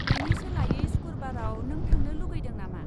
बेनि सोलायै सुखुरबाराव नों थांनो लुगैदों नामा?